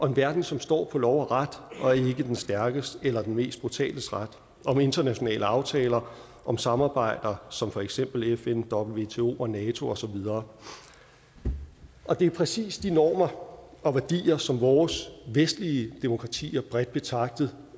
en verden som står på lov og ret og ikke den stærkestes eller den mest brutales ret om internationale aftaler om samarbejder som for eksempel fn wto og nato og så videre det er præcis de normer og værdier som vores vestlige demokratier bredt betragtet